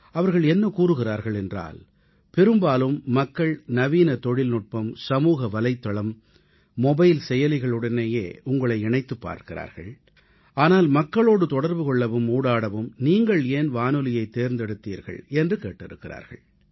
அவர்கள் என்ன கூறுகிறார்கள் என்றால் நவீன தொழில்நுட்பம் சமூக வலைத்தளம் மொபைல் செயலிகளின் பயன்பாட்டில் காலத்திற்கேற்ப நிபுணத்துவம் பெற்றுள்ள பிரதமர் நாட்டு மக்களோடு தொடர்பு கொள்வதற்காக வானொலியைத் தேர்ந்தெடுத்தது ஏன் என்று கேட்டிருக்கிறார்கள்